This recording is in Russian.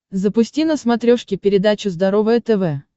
запусти на смотрешке передачу здоровое тв